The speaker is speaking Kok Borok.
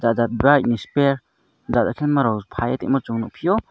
o jat brigh ni spears jana kerok pailoi tongma song nogphio.